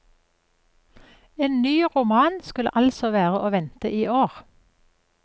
En ny roman skulle altså være å vente iår.